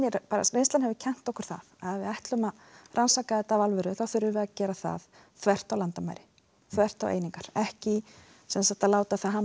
reynslan hefur kennt okkur það að ef við ætlum að rannsaka þetta af alvöru þurfum við að gera það þvert á landamæri þvert á einingar ekki að láta það hamla